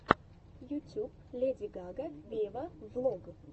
ютуб леди гага вево влог